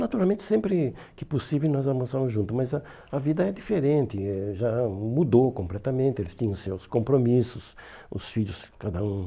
Naturalmente sempre que possível nós almoçamos juntos, mas a a vida é diferente, eh já mudou completamente, eles tinham seus compromissos, os filhos cada um.